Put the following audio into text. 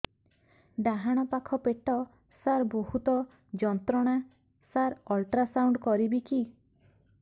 ଡାହାଣ ପାଖ ପେଟ ସାର ବହୁତ ଯନ୍ତ୍ରଣା ସାର ଅଲଟ୍ରାସାଉଣ୍ଡ କରିବି କି